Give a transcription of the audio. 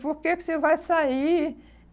Por que que você vai sair?